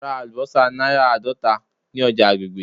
Ra alubosa naira aadota ni oja agbegbe.